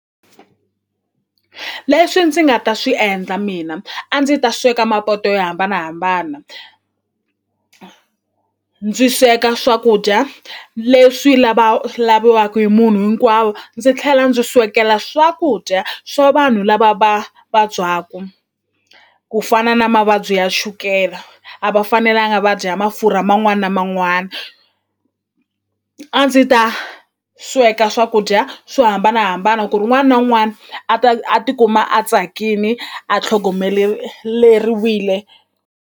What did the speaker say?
Leswi ndzi nga ta swi endla mina a ndzi ta sweka mapoto yo hambanahambana ndzi sweka swakudya leswi laviwaku hi munhu hinkwawo ndzi tlhela ndzi swekela swakudya swa vanhu lava va vabyaku ku fana na mavabyi ya chukela a va fanelanga va dya ya mafurha man'wani na man'wani a ndzi ta sweka swakudya swo hambanahambana ku ri un'wani na un'wani a ta a tikuma a tsakini a .